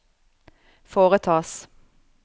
foretas